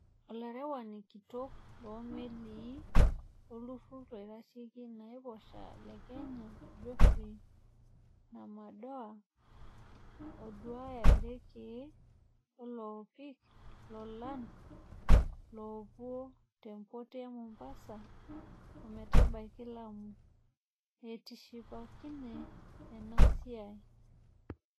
Olaarewani kitok loomelii loolturur loitasheki enaiposha le Kenya Godfrey Namadoa, ooduaya irekee loonapiki lolan loopuko tempot e mombasa ometabaki lamu, etishipakine ena siai.